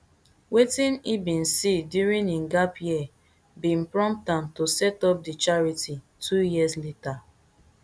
wetin e bin see during im gap year bin prompt am to set up di charity two years later